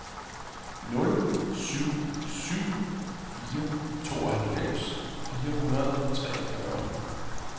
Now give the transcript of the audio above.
nul syv syv fire tooghalvfems fire hundrede og treogfyrre